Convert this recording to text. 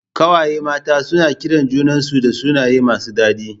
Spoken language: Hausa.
Ƙawaye mata suna kiran junan su da sunaye masu dadi